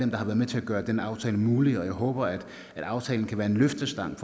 der har været med til at gøre denne aftale mulig jeg håber at aftalen kan være en løftestang